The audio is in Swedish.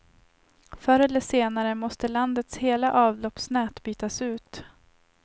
Förr eller senare måste landets hela avloppsnät bytas ut.